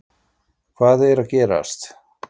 HVAÐ ER AÐ GERAST???